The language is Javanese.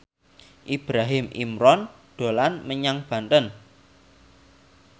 Ibrahim Imran dolan menyang Banten